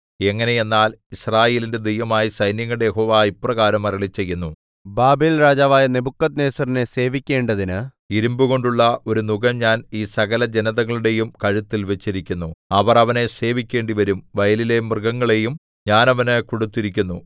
എങ്ങനെയെന്നാൽ യിസ്രായേലിന്റെ ദൈവമായ സൈന്യങ്ങളുടെ യഹോവ ഇപ്രകാരം അരുളിച്ചെയ്യുന്നു ബാബേൽരാജാവായ നെബൂഖദ്നേസരിനെ സേവിക്കേണ്ടതിന് ഇരിമ്പുകൊണ്ടുള്ള ഒരു നുകം ഞാൻ ഈ സകലജനതകളുടെയും കഴുത്തിൽ വച്ചിരിക്കുന്നു അവർ അവനെ സേവിക്കേണ്ടിവരും വയലിലെ മൃഗങ്ങളെയും ഞാൻ അവന് കൊടുത്തിരിക്കുന്നു